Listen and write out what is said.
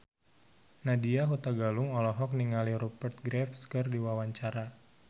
Nadya Hutagalung olohok ningali Rupert Graves keur diwawancara